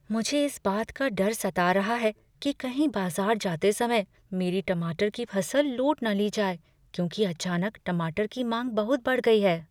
मुझे इस बात का डर सता रहा है कि कहीं बाजार जाते समय मेरी टमाटर की फसल लूट न ली जाए क्योंकि अचानक टमाटर की मांग बहुत बढ़ गई है।